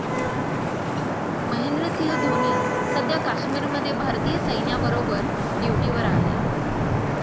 महेंद्रसिंह धोनी सध्या काश्मीरमध्ये भारतीय सैन्याबरोबर ड्युटीवर आहे.